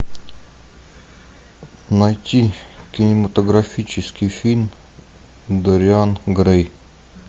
найти кинематографический фильм дориан грей